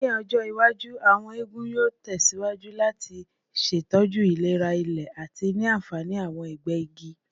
Ni ọjọ iwaju, awọn eegun yoo tẹsiwaju lati ṣetọju ilera ile ati ni anfani awọn agbẹ igi.